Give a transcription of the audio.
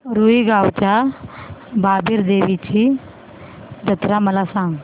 रुई गावच्या बाबीर देवाची जत्रा मला सांग